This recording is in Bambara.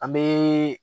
An bɛ